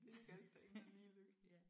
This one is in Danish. Det er ikke alt der ender lige lykkeligt